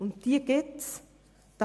Und diese gibt es tatsächlich.